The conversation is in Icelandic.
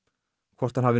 hvort hann hafi